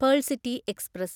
pearl City express